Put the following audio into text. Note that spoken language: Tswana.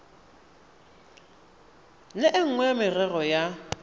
le nngwe ya merero ya